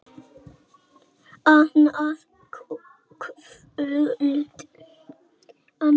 Annað kvöld.